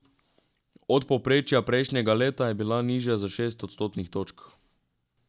Od povprečja prejšnjega leta je bila nižja za šest odstotnih točk.